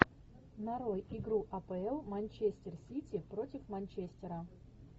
нарой игру апл манчестер сити против манчестера